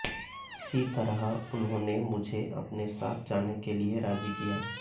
इसी तरह उन्होंने मुझे अपने साथ जाने के लिए राजी किया